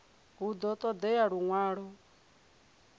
hu ḓo ṱo ḓea luṅwalo